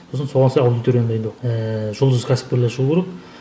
сосын соған сай аудиторияны дайындау ііі жұлдызды кәсіпкерлер шығу керек